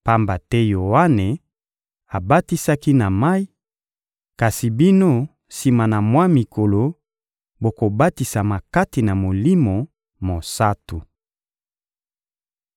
Pamba te Yoane abatisaki na mayi; kasi bino, sima na mwa mikolo, bokobatisama kati na Molimo Mosantu.»